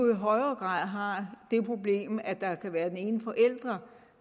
i højere grad har det problem at det kan være den ene forælder